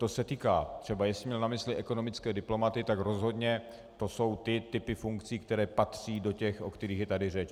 To se týká třeba, jestli měl na mysli ekonomické diplomaty, tak rozhodně to jsou ty typy funkcí, které patří do těch, o kterých je tady řeč.